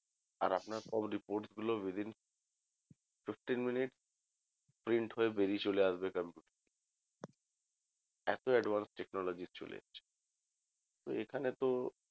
আর আপনার সব reports গুলো within fifteen minutes print হয়ে বেরিয়ে চলে আসবে এত advanced technology চলে এসছে তো এখানে